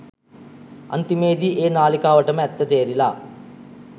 අන්තිමේදී ඒ නාලිකාවටම ඇත්ත තේරිලා